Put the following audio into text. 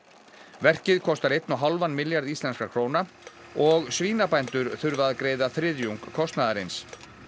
verkið kostar einn og hálfan milljarð íslenskra króna og svínabændur þurfa að greiða þriðjung kostnaðarins